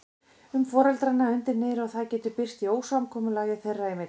um foreldrana undir niðri og það getur birst í ósamkomulagi þeirra í milli.